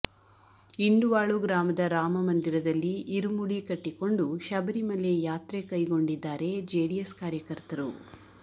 ಇಂಡುವಾಳು ಗ್ರಾಮದ ರಾಮ ಮಂದಿರದಲ್ಲಿ ಇರುಮುಡಿ ಕಟ್ಟಿಕೊಂಡು ಶಬರಿ ಮಲೆ ಯಾತ್ರೆಕೈಗೊಂಡಿದ್ದಾರೆ ಜೆಡಿಎಸ್ ಕಾರ್ಯಕರ್ತರು